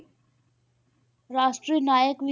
ਰਾਸ਼ਟਰੀ ਨਾਇਕ ਵੀ,